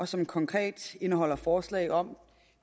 som konkret indeholder forslag om